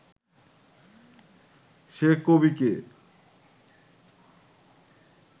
সে কবি কে